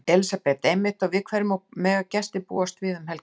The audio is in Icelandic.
Elísabet: Einmitt og við hverju mega gestir búast við um helgina?